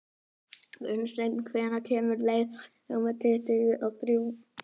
Gunnsteinn, hvenær kemur leið númer tuttugu og þrjú?